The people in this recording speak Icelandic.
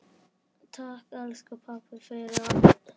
Takk, elsku pabbi, fyrir allt.